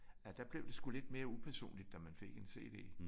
Ja der blev det sgu lidt mere upersonligt da man fik en cd